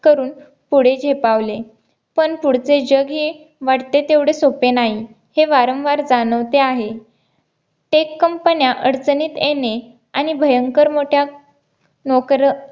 करून पुढे झेपावले पण पुढचे जग हे वाटते तेवढे सोपे नाही हे वारंवार जाणवते आहे Tech कंपन्या अडचणीत येणे आणि भयंकर मोठ्या नोकर